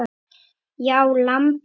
Já, lambið mitt.